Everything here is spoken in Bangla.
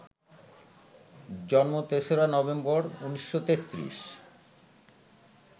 জন্ম ৩রা নভেম্বর, ১৯৩৩